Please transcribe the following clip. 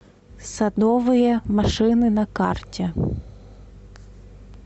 садовые машины на карте